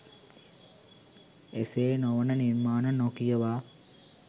එසේ නො වන නිර්මාණ නොකියවා